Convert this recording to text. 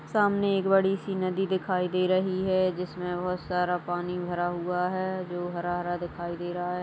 सामने एक बड़ी सी नदी दिखाई दे रही है जिसमें बहोत सारा पानी भरा हुआ है जो हरा-हरा दिखाई दे रहा है और--